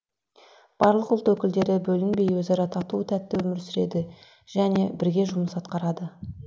барлық ұлт өкілдері бөлінбей өзара тату тәтті өмір сүреді және бірге жұмыс атқарады